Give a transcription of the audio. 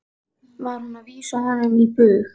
Var hún að vísa honum á bug?